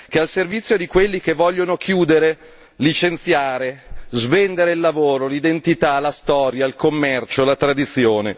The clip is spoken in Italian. Che è al servizio di quelli che vogliono chiudere, licenziare, svendere il lavoro, l'identità, la storia, il commercio, la tradizione.